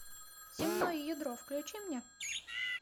земное ядро включи мне